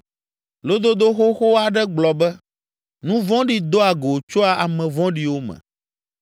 Lododo xoxo aɖe gblɔ be, ‘Nu vɔ̃ɖi doa go tsoa ame vɔ̃ɖiwo me.’